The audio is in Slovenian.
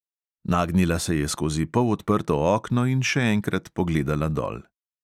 Nagnila se je skozi polodprto okno in še enkrat pogledala dol.